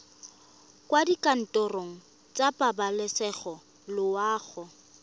kwa dikantorong tsa pabalesego loago